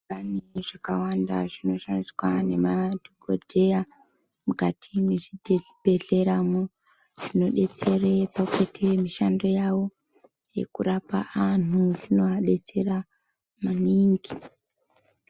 Pane zvakawanda zvinoshandiswa nemadhokodheya mukati mwezvibhehlera mwo zvinodetsere pakuite mishando yawo yekurapa anhu zvinoadetsera maningi.